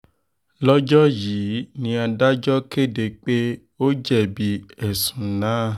lọ́jọ́ yìí ni adájọ́ kéde pé ó jẹ̀bi ẹ̀sùn náà